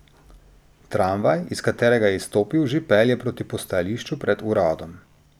Tramvaj, iz katerega je izstopil, že pelje proti postajališču pred uradom.